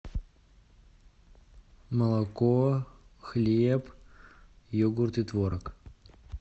молоко хлеб йогурт и творог